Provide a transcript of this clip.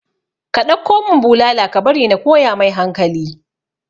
ka ɗauko mun bulala ka bari na koya mai hankali